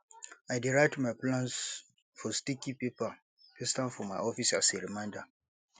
i dey write my plans for sticky paper paste am for my office as a reminder